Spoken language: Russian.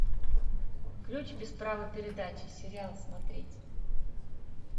ключ без права передачи сериал смотреть